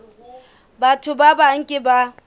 batho ba bang ke ba